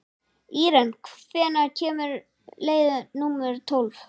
Íren, hvenær kemur leið númer tólf?